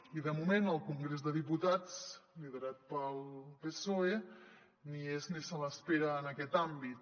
i de moment el congrés dels diputats liderat pel psoe ni hi és ni se l’espera en aquest àmbit